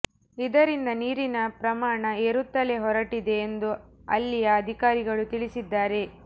ಇದರಿಂದ ನೀರಿನ ಪ್ರಮಾಣ ಏರುತ್ತಲೇ ಹೊರಟಿದೆ ಎಂದು ಅಲ್ಲಿಯ ಅಧಿಕಾರಿಗಳು ತಿಳಿಸಿದ್ದಾರೆ